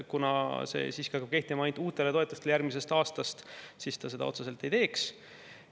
Kuna see hakkaks kehtima ainult uutele toetustele järgmisest aastast, siis ta seda otseselt siiski ei teeks.